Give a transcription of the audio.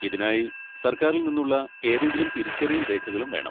ഇതിനായി സർക്കാരിൽ നിന്നുള്ള ഏതെങ്കിലും തിരിച്ചറിയൽ രേഖകളും വേണം.